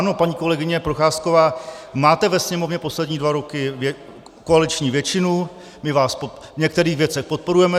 Ano, paní kolegyně Procházková, máte ve Sněmovně poslední dva roky koaliční většinu, my vás v některých věcech podporujeme.